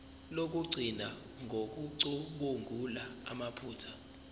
lokugcina ngokucubungula amaphutha